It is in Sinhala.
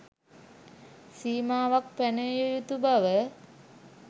සීමාවක් පැනවිය යුතු බව